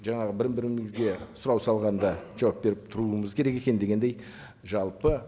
жаңағы бір бірімізге сұрау салғанда жауап беріп тұруымыз керек екен дегендей жалпы